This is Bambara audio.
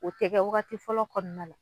O tɛ kɛ waagati fɔlɔ kɔnɔna la.